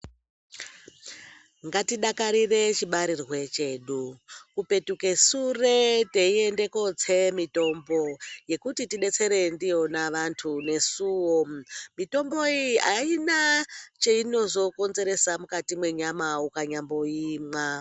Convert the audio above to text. Ngatidakarire chibarirwe chedu, kupetuke sure teiende kootse mitombo yekuti tidetsere ndiyona vantu nesuwo, mitombo iyi aina cheinozokonzeresa mukati menyama ukanyamboimwa.